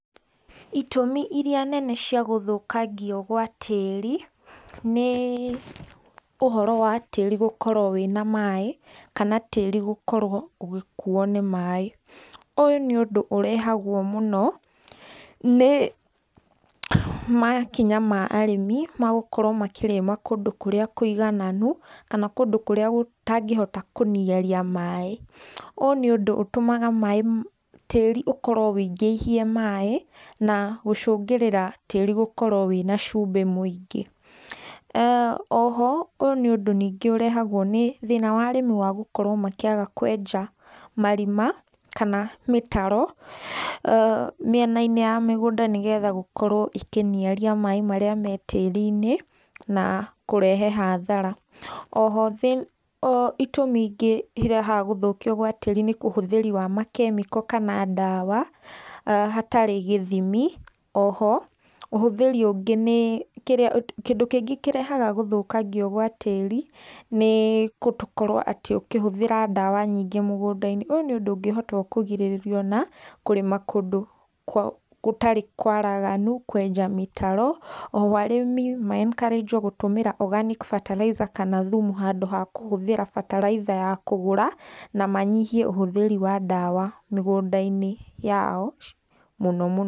Itũmi iria nene cia gũthũkangio gwa tĩĩri, nĩ ũhoro wa tĩĩri gũkorwo wĩna maĩ, kana tĩĩri gũkorwo ũgĩkuuo nĩ maĩ, ũyũ nĩ ũndũ ũrehagwo mũno, nĩmakinya ma arĩmi ma gũkorwo makĩrĩma kũndũ kũrĩa kũigananu, kana kũndũ kũrĩa gũtangĩhota kũniaria maĩ ũũ nĩ ũndũ ũtũmaga tĩĩri ũkorwo ũingĩihie maĩ na gũcũngĩrira tĩĩri gũkorwo wĩna cumbĩ mũingĩ, oho ũũ nĩ ũndũ ningĩ ũrehagwo nĩ thĩna wa arĩmi wa gũkorwo makĩaga kwenja marima kana mĩtaro mĩena-inĩ ya mũgũnda nĩgetha gũkorwo ikĩniaria maĩ marĩa me tĩĩri-inĩ, na kũrehe hathara, oho itũmi ingĩ irehaga gũthũkia gwa tĩĩri nĩ ũhũthĩri wa makemiko kana ndawa hatarĩ gĩthimi, oho kĩndũ kĩngĩ kĩrehaga gũthũkangio gwa tĩĩri, nĩ gũkorwo atĩ ũkĩhũthĩra ndawa nyingĩ mũgũnda-inĩ ũyũ nĩ ũndũ ũngĩhota kũgirĩrio na kũrĩma kũndũ gũtarĩ kwaraganu, kwenja mĩtaro oho arĩmi maenkarĩnjwo gũtũmĩra organic fertilizer kana thumu handũ ha kũhũthĩra bataraitha ya kũgũra, na manyihie ũhũthĩri wa ndawa mĩgũnda-inĩ yao mũno mũno.